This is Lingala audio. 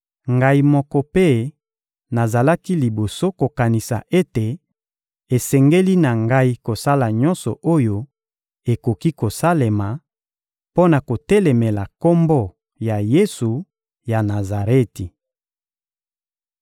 Ngai moko mpe nazalaki liboso kokanisa ete esengeli na ngai kosala nyonso oyo ekoki kosalema, mpo na kotelemela Kombo ya Yesu ya Nazareti.